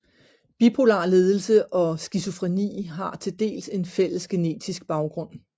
Bipolar lidelse og skizofreni har til dels en fælles genetisk baggrund